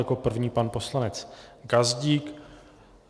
Jako první pan poslanec Gazdík.